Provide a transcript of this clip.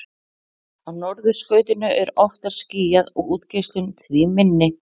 Á norðurskautinu er oftar skýjað og útgeislun því minni.